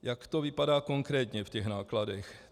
Jak to vypadá konkrétně v těch nákladech?